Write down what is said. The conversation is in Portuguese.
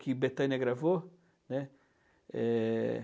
Que Bethânia gravou, né? Eh...